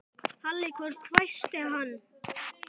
Halli hor hvæsti hann.